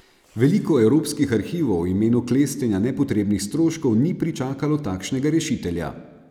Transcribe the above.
Veliko evropskih arhivov v imenu klestenja nepotrebnih stroškov ni pričakalo takšnega rešitelja.